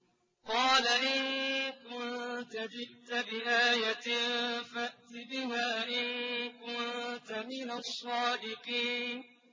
قَالَ إِن كُنتَ جِئْتَ بِآيَةٍ فَأْتِ بِهَا إِن كُنتَ مِنَ الصَّادِقِينَ